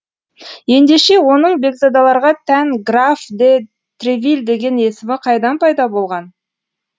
ендеше оның бекзадаларға тән граф де тревиль деген есімі қайдан пайда болған